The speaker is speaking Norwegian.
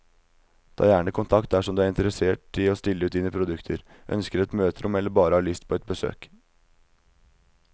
Ta gjerne kontakt dersom du er interessert i å stille ut dine produkter, ønsker et møterom eller bare har lyst på et besøk.